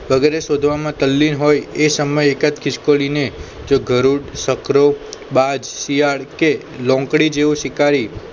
વગેરે શોધવામાં તલ્લીન હોય એ સમય એક જ ખિસકોલીને જો ગરુડ સકરો બાજ શિયાળ કે લોંકડી જેવું શિકારી